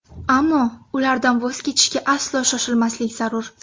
Ammo ulardan voz kechishga aslo shoshilmaslik zarur.